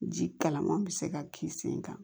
Ji kalaman bɛ se ka k'i sen kan